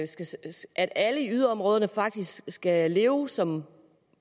at alle i yderområderne faktisk skal leve som